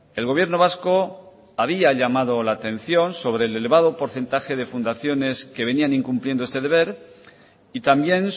el gobierno vasco había llamado la atención sobre el elevado porcentaje de fundaciones que venían incumpliendo este deber y también